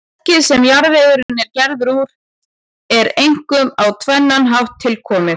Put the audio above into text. Fokið, sem jarðvegurinn er gerður úr, er einkum á tvennan hátt tilkomið.